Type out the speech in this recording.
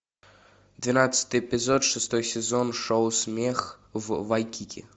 двенадцатый эпизод шестой сезон шоу смех в вайкики